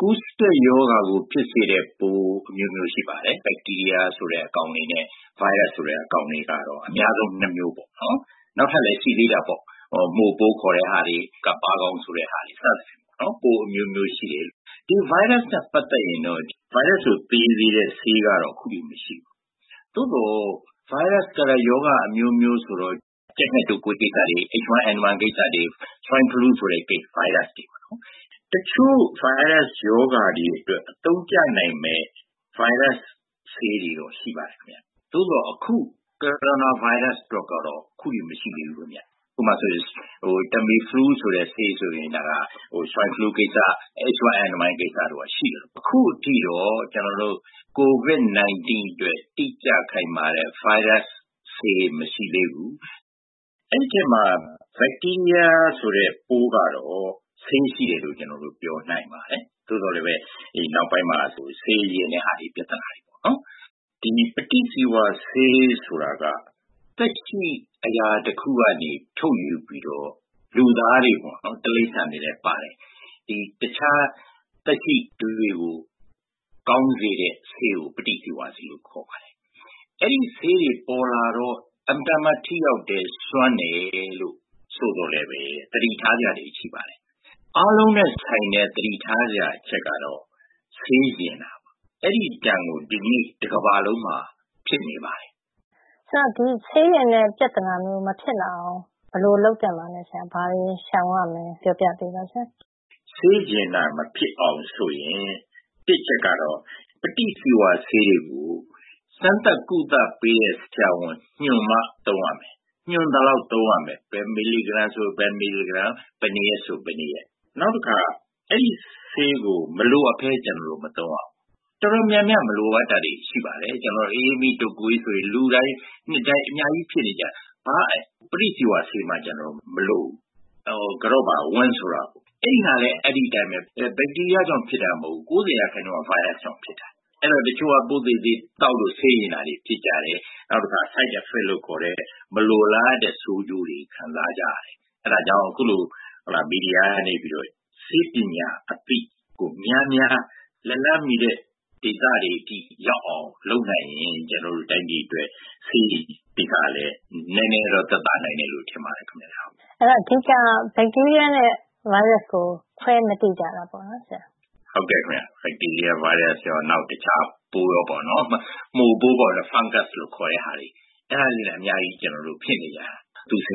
ကူးစက်ရောဂါကို ဖြစ်စေတဲ့ပိုးအမျိုးမျိုးရှိပါတယ်။ ဘက်တီးရီးယား ဆိုတဲ့အကောင်တွေနဲ့ ဗိုင်းရပ်စ် ဆိုတဲ့အကောင် ပေါ့ အများဆုံး ၂ မျိုးပေါ့နော် နောက်ထပ်လည်း ရှိသေးတာပေါ့ မှိုပိုးတွေ ၊ ကပ်ပါးတွေ စသဖြင့် ပိုးအမျိုးမျိုးရှိတယ်။ ဗိုင်းရပ်စ်နဲ့ ပတ်သက်ရင်တော့ ဗိုင်းရပ်စ်ကို သေစေတဲ့ဆေးကတော့ အခုအထိ မရှိဘူး သို့သော် ဗိုင်းရပ်စ်ကလည်း ရောဂါအမျိုးမျိုးဆိုတော့ ကြက်ဌက်တုပ်ကွေးကိစ္စတွေ Swine flu ဆိုတဲ့ ဗိုင်းရပ်စ်တွေပေါ့နော်။ တချို့ ဗိုင်းရပ်စ်ရောဂါတွေအတွက် အသုံးကျနိုင်မယ့် ဗိုင်းရပ်စ်ဆေးတွေတော့ ရှိပါတယ်ခင်ဗျ။ သို့သော် အခု Coronavirus အတွက်တော့ အခုအထိ မရှိသေးဘူးခင်ဗျ။ ဥပမာ -Tamiflu ဆိုရင် Swine Flu ကိစ္စ ၊ H1N1 တို့မှာ ရှိသလို အခုအထိတော့ COVID-19 အတွက် တိကျခိုင်မာတဲ့ ဆေးမရှိသေးဘူး။ အဲဒီအဲမှာ ဘက်တီးရီးယား ဆိုတဲ့ပိုးကတော့ ဆေးရှိတယ်လို့ ကျနော်တို့ ပြောနိုင်ပါတယ်။ သို့သော် နောက်ပိုင်းမှာ ဆေးယဉ်သွားတဲ့ ပြဿနာတွေပေါ့နော်။ ဒီ ပဋိဇီဝဆေး ဆိုတာက သက်ရှိ အရာတခုကနေ ထုတ်ယူပြီးတော့ လူသားတွေပေါ့နော် တိရိစ္ဆာန်တွေလည်း ပါတယ် တခြား သက်ရှိတွေကို ကောင်းစေတဲ့ဆေးကို ပဋိဇီဝဆေး လို့ခေါ်တယ်။ အဲဒီဆေးတွေ ပေါ်လာတော့မှ အင်မတန်မှ ထိရောက်တယ် စွမ်းတယ်ဆိုသော်လည်း သတိထားစရာတွေရှိပါတယ်။ အားလုံးနဲ့ ဆိုင်တဲ့ သတိထားစရာအချက်ကတော့ ဆေးယဉ်တာပါ အဲဒီဒဏ်ကို ဒီကနေ့ တကမ္ဘာလုံးမှာ ဖြစ်နေပါတယ်။ ဆိုတော့ ဒီ ဆေးယဉ်တဲ့ပြဿနာမျိုး မဖြစ်လာအောင် ဘယ်လိုလုပ်သင့်ပါသလဲဆရာ။ ဘာတွေ ရှောင်ရမလဲ ပြောပြပေးပါဆရာ။ ဆေးယဉ်တာမဖြစ်အောင်ဆိုရင် တစ်အချက်ကတော့ ပဋိဇီဝဆေးတွေကို စမ်းသပ် ကုသပေးတဲ့ ဆရာဝန် ညွှန်မှာ သုံးရမယ် ၊ ညွှန်သလောက်ပဲ သုံးရမယ် ဘယ်မီလီဂရမ်ဆိုရင် ဘယ်မီလီဂရမ်၊ ဘယ်နှစ်ရက်ဆိုရင် ဘယ်နှစ်ရက် ။ နောက်တခါ အဲဒီဆေးကို မလိုအပ်ပဲ ကျနော်တို့ မသုံးရဘူး ။ တော်တော်များများ ကျနော်တို့ မလိုအပ်တာတွေ ရှိပါတယ်။ ကျနော်တို့ အအေးမိ တုပ်ကွေးဆိုရင် လူတိုင်း နှစ်တိုင်း အများကြီးဖြစ်နေကြ ဘာပဋိဇီဝဆေးတွေမှ ကျနော်တို့ မလိုဘူး။ ဝမ်းသွားတယ်ဆိုပါတော့ အဲဒီဟာလည်း ဘက်တီးရီးယားကြောင့်ဖြစ်တာမဟုတ်ဘူး ၉၀ ရာခိုင်နှုန်းက ဗိုင်းရပ်စ်ကြောင့်ဖြစ်တာ။ အဲဒါ တချို့က ပိုးသေအောင် သောက်တော့ ဆေးယဉ်တာတွေ ဖြစ်ကြတယ်၊ Side effects တွေ မလိုလားအပ်တဲ့ ဆိုးကျိုးတွေ ခံစားကြရတယ် အဲဒါကြောင့် အခုလို မီဒီယာကနေပြီးတော့ ဆေးပညာအသိကို များများ လက်လှမ်းမီတဲ့ ဒေသတွေအထိရောက်အောင် လုပ်နိုင်ရင် ကျနော်တို့ တိုင်းပြည်အတွက်ဆေးတွေကိစ္စကလည်း နည်းနည်းသက်သာနိုင်မယ်လို့ ထင်ပါတယ်ခင်ဗျ။ အဓိက ဘက်တီးရီးယားနဲ့ ဗိုင်းရပ်စ် ကို ခွဲပြီးမသိကြတာပေါ့နော် ဆရာ။ ဘက်တီးရီးယားနဲ့ ဗိုင်းရပ်စ်ရော နောက်တခြား ပိုးတွေရောပေါ့နော် မှိုပိုး Fungus လို့ခေါ်တာတွေ အဲဒါတွေလည်း အများကြီး ကျနော်တို့ ဖြစ်နေကြတာ နောက်ပြီး